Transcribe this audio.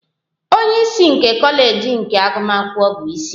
Onye isi nke kọleji nke agụmakwụkwọ bụ isi.